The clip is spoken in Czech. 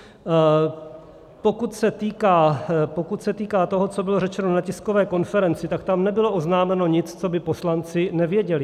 Pokud se týká toho, co bylo řečeno na tiskové konferenci, tak tam nebylo oznámeno nic, co by poslanci nevěděli.